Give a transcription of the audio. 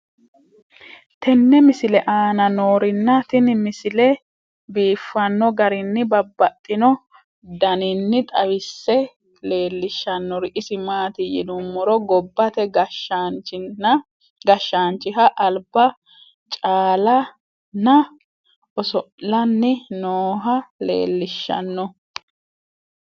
tenne misile aana noorina tini misile biiffanno garinni babaxxinno daniinni xawisse leelishanori isi maati yinummoro gobbatte gashshaanchiha alibba caala nna oso'lanni nooha leelishshanno